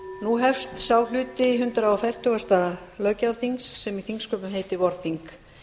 nú hefst sá hluti hundrað fertugasta löggjafarþings sem í þingsköpum heitir vorþing